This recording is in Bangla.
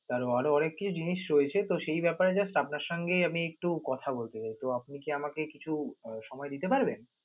আহ আরও আরও অনেকি জিনিস রয়েছে তো সেই ব্যাপারে just আমি আপনের সঙ্গে আমি একটু কথা বলতে চাই, তো আপনি কি আমাকে কিছু সময় দিতে পারবেন?